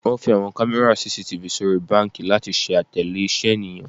Wọn fi awọn kamẹra CCTV sori banki lati ṣe atẹle iṣẹ eniyan.